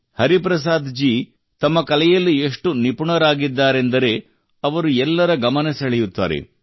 ಹರಿಪ್ರಸಾದ್ ಜಿ ತಮ್ಮ ಕಲೆಯಲ್ಲಿ ಎಷ್ಟು ನಿಪುಣರಾಗಿದ್ದಾರೆಂದರೆ ಅವರು ಎಲ್ಲರ ಗಮನ ಸೆಳೆಯುತ್ತಾರೆ